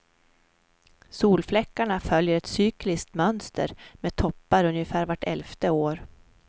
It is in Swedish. Solfläckarna följer ett cykliskt mönster med toppar ungefär vart elfte år.